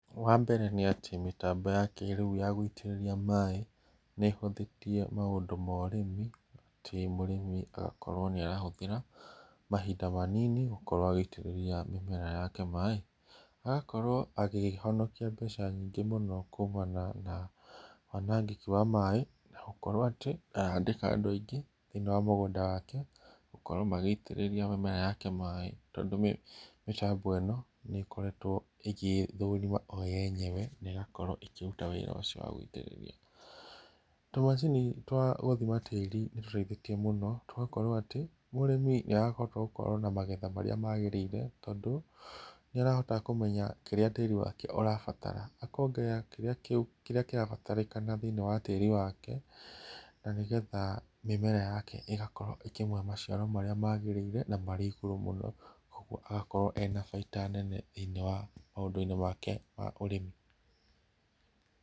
Wambere nĩ atĩ mĩtambo ya kĩrĩu ya gũitĩrĩria maaĩ nĩhũthĩtie maũndũ ma ũrĩmi atĩ mũrĩmi agakorwo nĩarahũthĩra mahinda manini gũkorwo agĩitĩrĩrĩa mĩmera yake maaĩ, agakorwo akĩhonokia mbeca nyingĩ mũno kũmana na wanangĩki wa maaĩ na gũkorwo atĩ ndarandĩka andũ aingĩ thĩinĩ wa mũgũnda wake a gũkorwo magĩitĩrĩria mĩmera yake maaĩ tondũ mĩtambo ĩno nĩkoretwo ĩgĩthũrima yo yenyewe na ĩgakorwo ĩkĩruta wĩra ũcio wa gũitĩrĩria. Tũmacini twa gũthima tĩri nĩtũteithĩtie mũno tũgakorwo atĩ mũrĩmi nĩarahota gũkorwo na magetha maria magĩrĩire tondũ nĩrahota kũmenya kĩrĩa tĩri wake ũrabatara akongerera kĩrĩa kĩrabatarĩkana thĩinĩ wa tĩri wake na nĩgetha mĩmera yake ĩgakorwo ĩkĩmũhe maciaro marĩa magĩrĩire na marĩ igũru mũno koguo agakorwo arĩ na baita nene thĩinĩ wa maũndũ make ma ũrĩmi.